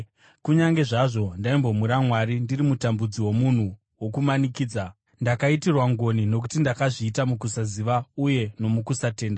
Kunyange zvazvo ndaimbomhura Mwari ndiri mutambudzi nomunhu wokumanikidza, ndakaitirwa ngoni nokuti ndakazviita mukusaziva uye nomukusatenda.